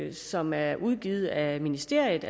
en som er udgivet af ministeriet